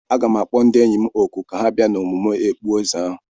Aga m akpọ ndị enyi m òkù ka ha bịa n'emume okpueze ahu.